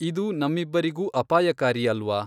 ಇದು ನಮ್ಮಿಬ್ಬರಿಗೂ ಅಪಾಯಕಾರಿ ಅಲ್ವಾ.